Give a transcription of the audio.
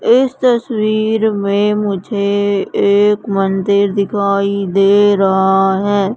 इस तस्वीर में मुझे एक मंदिर दिखाई दे रहा है।